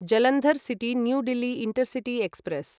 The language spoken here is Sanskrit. Jalandhar city new Delhi intercity express